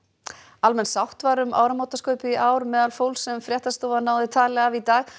almenn sátt var um áramótaskaupið í ár meðal fólks sem fréttastofa náði tali af í dag